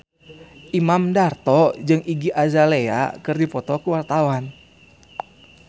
Imam Darto jeung Iggy Azalea keur dipoto ku wartawan